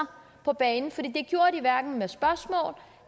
på banen for det gjorde de hverken med spørgsmål